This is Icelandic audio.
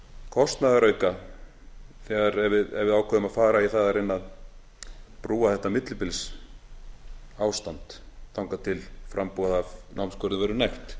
kostnaðarauka ef við ákveðum að fara í það að reyna að brúa þetta millibilsástand þangað til framboð af námsgörðum verður nægt